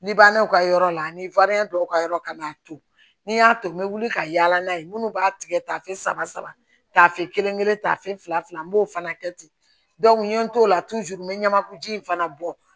Ni bannaw ka yɔrɔ la ni dɔw ka yɔrɔ ka n'a to ni y'a to n bɛ wuli ka yaala n'a ye minnu b'a tigɛ tafe saba saba saba tafe kelen kelen tafe fila n b'o fana kɛ ten n ye n t'o la n bɛ ɲamaku ji in fana bɔ